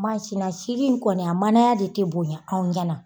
na sini in kɔni , a manaya de te bonya anw ɲana.